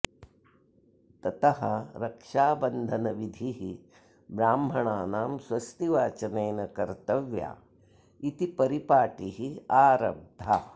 ततः रक्षाबन्धनविधिः ब्राह्मणानां स्वस्तिवाचनेन कर्तव्या इति परिपाटिः आरब्धा